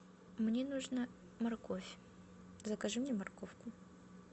мне нужна морковь закажи мне морковку